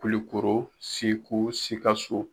Kulikoro, Segu, Sikaso